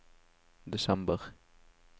desember